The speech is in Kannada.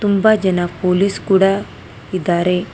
ತುಂಬ ಜನ ಪೊಲೀಸ್ ಕೂಡ ಇದ್ದಾರೆ.